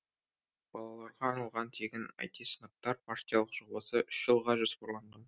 балаларға арналған тегін ай ти сыныптар партиялық жобасы үш жылға жоспарланған